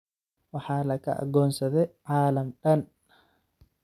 Waxa laka agonsade caalam daan.